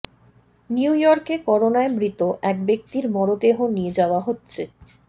new ইয়র্কে করোনায় মৃত এক ব্যক্তির মরদেহ নিয়ে যাওয়া হচ্ছে